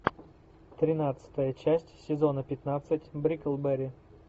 тринадцатая часть сезона пятнадцать бриклберри